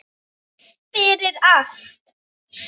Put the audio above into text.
Fyrir allt.